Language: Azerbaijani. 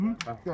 Hə keçdi.